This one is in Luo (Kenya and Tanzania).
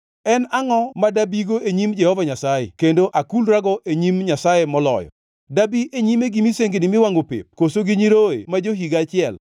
En angʼo ma dabigo e nyim Jehova Nyasaye kendo akulrago e nyim Nyasaye moloyo? Dabi e nyime gi misengini miwangʼo pep koso gi nyiroye ma jo-higa achiel?